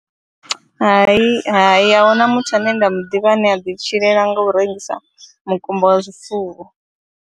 Hai, hai, a hu na muthu ane nda mu ḓivha ane a ḓitshilela nga u rengisa mukumba wa zwifuwo.